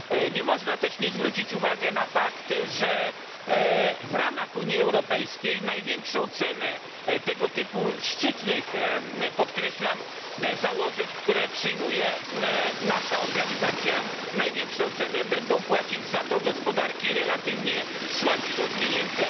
Nie można też nie zwrócić uwagi na fakt, że w ramach Unii Europejskiej największą cenę tego typu szczytnych, podkreślam, założeń, które przyjmuje nasza organizacja, największą cenę będą płacić za to gospodarki relatywnie słabiej rozwinięte.